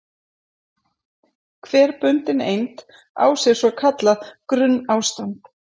Hver bundin eind á sér svo kallað grunnástand.